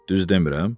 Düz demirəm?